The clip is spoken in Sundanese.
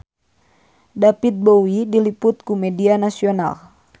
David Bowie diliput ku media nasional